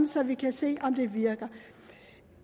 så vi kan se om den virker